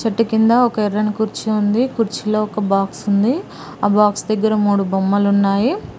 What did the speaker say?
చెట్టు కింద ఒక ఎర్రని కుర్చీ ఉంది కుర్చీలో ఒక బాక్స్ ఉంది ఆ బాక్స్ దగ్గర మూడు బొమ్మలు ఉన్నాయి.